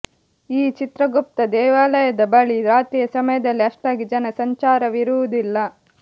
ಈ ಚಿತ್ರಗುಪ್ತ ದೇವಾಲಯದ ಬಳಿ ರಾತ್ರಿಯ ಸಮಯದಲ್ಲಿ ಅಷ್ಟಾಗಿ ಜನ ಸಂಚಾರವಿರುವುದಿಲ್ಲ